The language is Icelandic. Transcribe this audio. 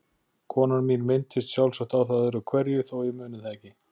Konan mín minntist sjálfsagt á það öðru hverju þó ég muni það ekki.